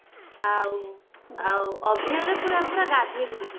ଆଉ ଆଉ ଅଭି ଅଭିରରେ ମୁଁ ପୁରା ଗାଧୋଇ ପଡିଥିଲି